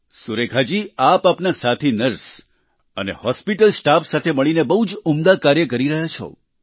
સુરેખાજી આપ આપના સાથી નર્સ અને હોસ્પિટલ સ્ટાફ સાથે મળીને બહુ જ ઉમદા કાર્ય કરી રહ્યા છો